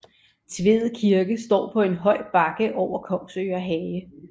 Tved Kirke står på en høj bakke over Kongsøre Hage